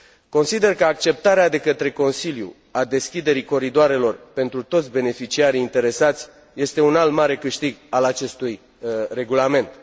Consider că acceptarea de către Consiliu a deschiderii coridoarelor pentru toți beneficiarii interesați este un alt mare câștig al acestui Regulament.